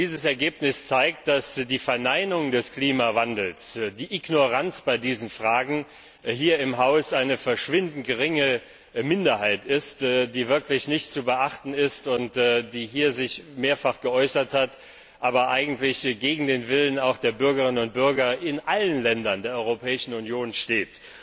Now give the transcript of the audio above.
Dieses Ergebnis zeigt, dass die Verneinung des Klimawandels, die Ignoranz bei diesen Fragen hier im Haus von einer verschwindend geringen Minderheit vertreten wird, die wirklich nicht zu beachten ist und die sich hier zwar mehrfach geäußert hat, aber eigentlich gegen den Willen der Bürgerinnen und Bürger in allen Ländern der Europäischen Union steht.